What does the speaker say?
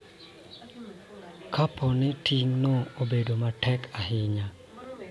Kapo ni ting�no bedo matek ahinya.